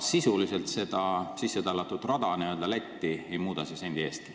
Seda sissetallatud rada Lätti ei muuda see sendi eestki.